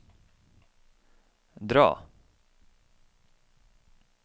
dra